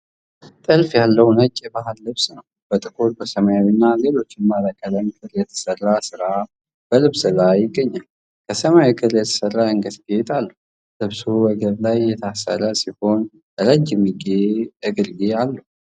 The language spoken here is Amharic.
ጥልፍ ያለው ነጭ የባህል ልብስ ነው. በጥቁር፣ ሰማያዊ እና ሌሎች ባለቀለም ክር የተሠራ ሥራ በልብሱ ላይ ይገኛል። ከሰማያዊ ክር የተሠራ የአንገት ጌጥ አለበት። ልብሱ ወገብ ላይ የታሰረ ሲሆን ረጅም እጅጌ አለው።